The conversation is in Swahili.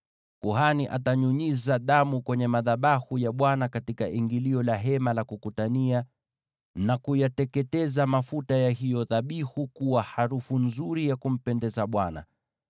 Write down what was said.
Kuhani atanyunyiza damu kwenye madhabahu ya Bwana katika ingilio la Hema la Kukutania, na kuyateketeza mafuta ya hiyo dhabihu kuwa harufu nzuri ya kumpendeza Bwana .